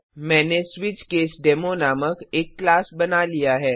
मैंने स्विचकेसडेमो नामक एक क्लास बना लिया है